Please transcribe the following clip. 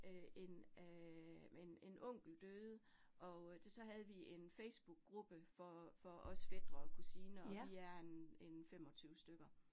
Øh en øh en en onkel døde og øh så havde vi en Facebookgruppe for for os fætre og kusiner, og vi er en en 25 stykker